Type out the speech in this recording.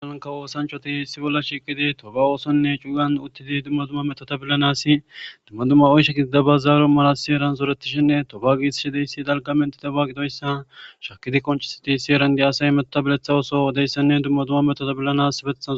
Kawo oththanchchati issi bolla uttidi hasaishe dettes.